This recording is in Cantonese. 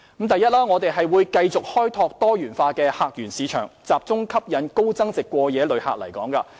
第一，我們會繼續開拓多元化的客源市場，集中吸引高增值過夜旅客來港。